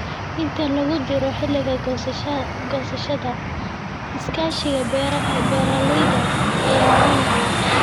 Inta lagu jiro xilliga goosashada, iskaashiga beeralayda ayaa muhiim ah.